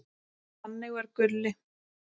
Þannig var Gulli.